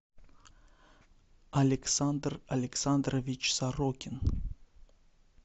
александр александрович сорокин